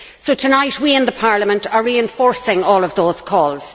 So, tonight, we in Parliament are reinforcing all of those calls.